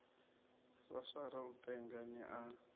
swaswara u penga ni a